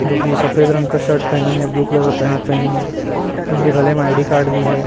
जो की सफेद रंग का शर्ट पहनी है ब्लू कलर का पैंट पहनी है उनके गले में आई_डी कार्ड भी है।